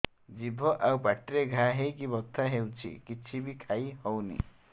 ଜିଭ ଆଉ ପାଟିରେ ଘା ହେଇକି ବଥା ହେଉଛି କିଛି ବି ଖାଇହଉନି